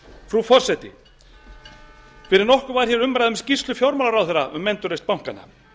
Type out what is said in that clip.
frú forseti fyrir nokkru var hér umræða um skýrslu fjármálaráðherra um endurreisn bankanna